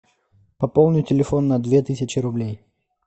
пополни телефон на две тысячи рублей